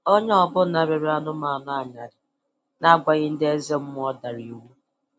Onye ọbụla rere anụmanụ anyarị na-agwaghị ndị eze mmụọ dara iwu